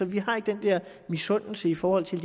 vi har ikke den der misundelse i forhold til